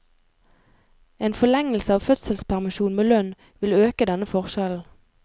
En forlengelse av fødselspermisjon med lønn vil øke denne forskjellen.